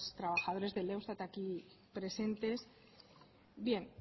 trabajadores del eustat aquí presentes